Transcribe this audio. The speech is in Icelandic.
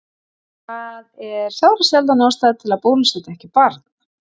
Það er sárasjaldan ástæða til að bólusetja ekki barn.